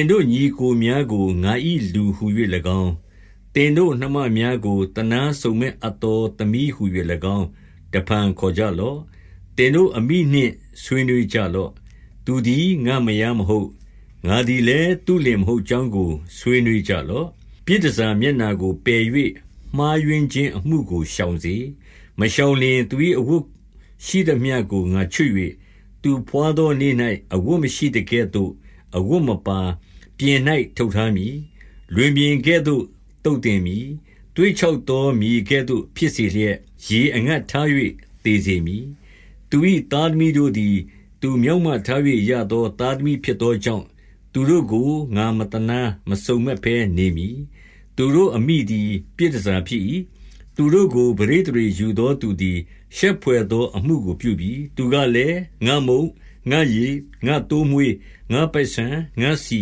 င်တို့ ညီအစ်ကိုများကို ငါ၏လူဟူ၍၎င်း၊ သင်တို့နှမများကို သနားစုံမက်အပ်သောသမီးဟူ၍၎င်း တဖန်ခေါ်ကြလော့။ 2 သင်တို့အမိနှင့် ဆွေးနွှေးကြလော့။ သူသည် ငါ့မယားမဟုတ်၊ ငါသည်လည်း သူ့လင်မဟုတ်ကြောင်းကို ဆွေးနွှေးကြလော့။ ပြည်တန်ဆာမျက်နှာကို ပယ်၍ မှားယွင်းခြင်းအမှုကို ရှောင်စေ။ 3 မရှောင်လျှင် သူ၏အဝတ်ရှိသမျှကို ငါချွတ်၍၊ သူဘွားသောနေ့၌ အဝတ်မရှိသကဲ့သို့ အဝတ်မပါ၊ ပြင်၌ ထုတ်ထားမည်။ လွင်ပြင်ကဲ့သို့ သုတ်သင်မည်။ သွေ့ ခြောက်သော မြေကဲ့သို့ ဖြစ်စေလျက် ရေအငတ်ထား၍ သေစေမည်။ 4 သူ၏သားသမီးတို့သည် သူမျောက်မထား၍ ရသော သားသမီးဖြစ်သောကြောင့် သူတို့ကို ငါမသနား မစုံမက်ဘဲ နေမည်။ 5 သူတို့အမိသည် ပြည်တန်ဆာဖြစ်၏။ သူတို့ကို ပဋိသန္ဓေယူ သောသူသည် ရှက်ဘွယ်သောအမှုကိုပြုပြီ။ သူကလည်း၊ ငါ့မုန့်၊ ငါ့ရေ၊ ငါ့သိုးမွှေး၊ ငါ့ပိုက်ဆန်၊ ငါ့ဆီ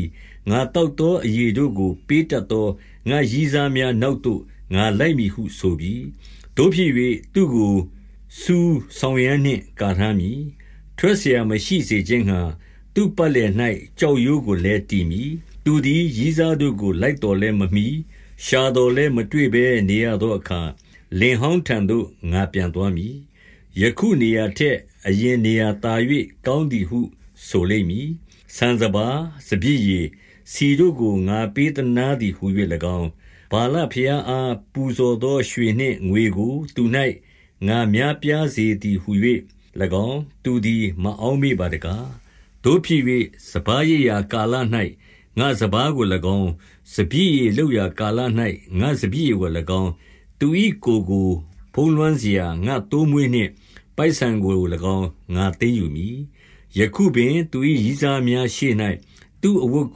၊ ငါသောက်သောအရည်တို့ကို ပေးတတ်သော ငါ့ရည်းစား များ နောက်သို့ ငါလိုက်မည်ဟုဆိုပြီ။ 6 သို့ဖြစ်၍၊ သူ့ကိုဆူးစောင်ရန်းနှင့် ကာထားမည်။ ထွက်စရာမရှိစေခြင်းငှါ သူ့ပတ်လည်၌ ကျောက်ရိုးကို လည်း တည်မည်။ 7 သူသည် ရည်းစားတို့ကို လိုက်သော်လည်း မမှီ၊ ရှာသော်လည်း မတွေ့ဘဲ နေရသောအခါ၊ လင်ဟောင်းထံ သို့ ငါပြန်သွားမည်။ ယခုနေရာထက် အရင်နေရာသာ၍ ကောင်းသည်ဟု ဆိုလိမ့်မည်။ 8 ဆန်စပါး၊ စပျစ်ရည်၊ ဆီတို့ကို ငါပေးသနား သည်ဟူ၍၎င်း၊ ဗာလဘုရားအား ပူဇော်သောရွှေနှင့် ငွေကို သူ၌ ငါများပြားစေသည်ဟူ၍၎င်း သူသည် မအောက်မေ့ပါတကား။ 9 သို့ဖြစ်၍၊ စပါးရိတ်ရာကာလ၌ ငါ့စပါးကို၎င်း၊ စပျစ်ရည်လုပ်ကာ ကာလ၌ ငါ့စပျစ်ရည်ကို၎င်း၊ သူ၏ ကိုယ် ကို ဖုံးလွှမ်းစေရာ ငါ့သိုးမွှေးနှင့် ပိုက်ဆန်ကို၎င်း ငါသိမ်း ယူမည်။ 10 ယခုပင် သူ၏ ရည်းစားများရှေ့၌ သူ့အဝတ်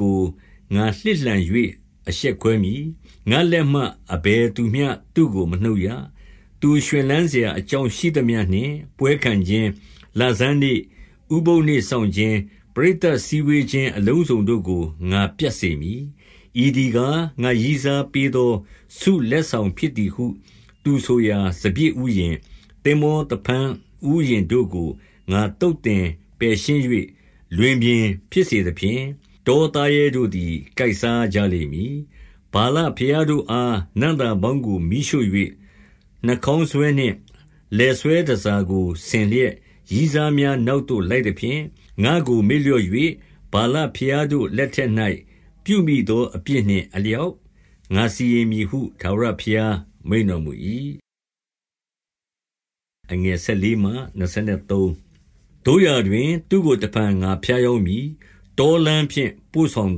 ကို ငါလှစ်လှန်၍ အရှက်ခွဲမည်။ ငါ့လက်မှ အဘယ်သူမျှ သူ့ကိုမနှုတ်ရ။ 11 သူရွှင်လန်းစရာအကြောင်းရှိသမျှနှင့် ပွဲခံခြင်း၊ လဆန်းနေ့၊ ဥပုသ်နေ့စောင့်ခြင်း၊ ပရိသတ်စည်းဝေးခြင်း အလုံးစုံတို့ကို ငါပြတ်စေမည်။ 12 ဤသည်ကား၊ ငါ့ရည်းစားပေးသော ဆုလက် ဆောင်ဖြစ်သည်ဟု သူဆိုရာ စပျစ်ဥယျာဉ်၊ သင်္ဘော သဖန်းဥယျာဉ်တို့ကို ငါသုတ်သင်ပယ်ရှင်း၍၊ လွင်ပြင် ဖြစ်စေသဖြင့် တောသားရဲတို့သည် ကိုက်စားကြလိမ့်မည်။ 13 ဗာလဘုရားတို့အားနံ့သားပေါင်းကို မီးရှို့၍ နှခေါင်းဆွဲနှင့် လည်ဆွဲတန်ဆာကို ဆင်လျက် ရည်စား များ နောက်သို့လိုက်သဖြင့် ငါ့ကို မေ့လျော့၍ ဗာလဘုရား တို့ လက်ထက်၌ ပြုမိသောအပြစ်နှင့်အလျောက် စီရင် မည်ဟု ထာဝရဘုရားမိန့်တော်မူ၏။ 14 သို့ရာတွင်၊ သူ့ကို တဖန်ငါဖြားယောင်းမည်။ တောလမ်းဖြင့် ပို့ဆောင်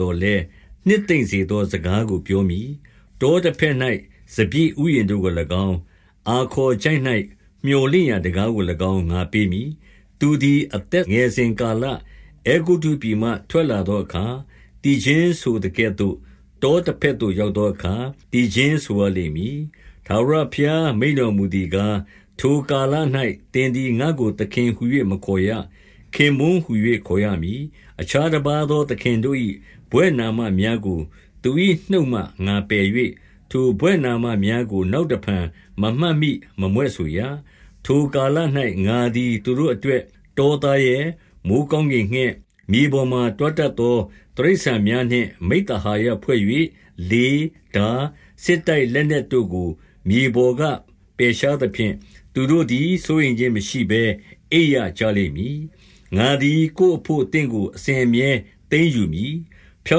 သော်လည်း၊ နှစ်သိမ့်စေသော စကားကိုပြောမည်။ 15 တောတဘက်၌ စပျစ်ဥယျာဉ်တို့ကို၎င်း၊ အာ ခေါ်ချိုင့်၌မြော်လင့်ရာတံခါးကို၎င်း၊ အာခေါ်ချိုင့်၌ မြော်လင့်ရာတံခါးကို၎င်း ငါပေးမည်။ သူသည် အသက် ငယ်စဉ်ကာလ၊ အဲဂုတ္တုပြည်မှ ထွက်လာသောအခါ၊ သီချင်းဆိုသကဲ့သို့၊ တောတဘက်သို့ ရောက်သောအခါ သီချင်းဆိုရလိမ့်မည်။ 16 ထာဝရဘုရားမိန့်တော်မူသည်ကား၊ ထိုကာလ၌ သင်သည်ငါ့ကို သခင်ဟူ၍ မခေါ်ရ၊ ခင်ပွန်းဟူ၍ ခေါ် ရမည်။ 17 အခြားတပါးသော သခင်တို့၏ ဘွဲ့နာမများကို သူ၏ နှုတ်မှ ငါပယ်၍၊ ထိုဘွဲ့နာမများကို နောက် တဖန် မမှတ်မိမမြွက်ဆိုရ။ 18 ထိုကာလ၌ငါသည် သူတို့အတွက်၊ တောသားရဲ၊ မိုဃ်းကောင်းကင်ငှက်၊ မြေပေါ်မှာ တွားတတ်သော တိရစ္ဆာန်များနှင့် မိဿဟာယဖွဲ့၍၊ လေး၊ ထား၊ စစ်တိုက် လက်နက်တို့ကို မြေပေါ်က ပယ်ရှားသဖြင့် သူတို့သည် စိုးရိမ်ခြင်းမရှိဘဲ အိပ်ရကြလိမ့်မည်။ 19 ငါသည် ကိုယ်အဘို့သင့်ကို အစဉ်အမြဲ သိမ်းယူ မည်။ ဖြော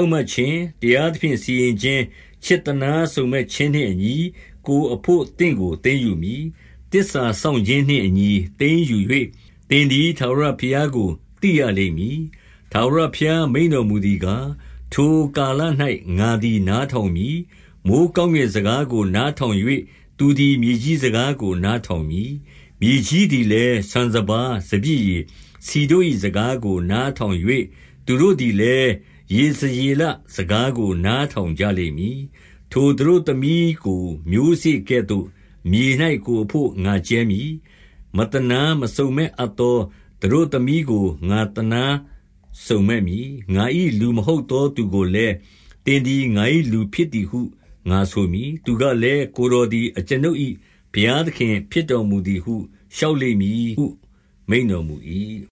င့်မတ်ခြင်း၊ တရားသဖြင့် စီရင်ခြင်း၊ ချစ် သနားစုံမက်ခြင်းနှင့်အညီ ကိုယ်အဘို့သင့်ကို သိမ်းယူမည်။ 20 သစ္စာစောင့်ခြင်းနှင့်အညီ သိမ်းယူ၍၊ သင်သည် ထာဝရဘုရားကို သိရလိမ့်မည်။ 21 ထာဝရဘုရားမိန့်တော်မူသည်ကား၊ ထိုကာလ၌ ငါသည် နားထောင်မည်။ မိုဃ်းကောင်းကင်စကားကို နားထောင်၍၊ သူသည် မြေကြီးစကားကို နားထောင်မည်။ 22 မြေကြီးသည်လည်း ဆန်စပါး၊ စပျစ်ရည်၊ ဆီတို့ ၏ စကားကို နားထောင်၍၊ သူတို့သည်လည်း ယေဇရေလ စကားကို နားထောင်ကြလိမ့်မည်။ 23 ထိုသတို့သမီးကိုမျိုးစေ့ကဲ့သို့ မြေ၌ ကိုယ်အဘို့ ငါကြဲမည်။ မသနားမစုံမက်အပ်သော သတို့သမီးကို ငါသနားစုံမက်မည်။ ငါ၏ လူမဟုတ်သော သူကိုလည်း သင်သည်ငါ၏လူဖြစ်သည်ဟု ငါဆိုမည်။ သူကလည်း ကိုယ်တော်သည် အကျွန်ုပ်၏ ဘုရားသခင်ဖြစ်တော် မူသည်ဟု လျှောက်လိမ့်မည်ဟုမိန့်တော်မူ၏။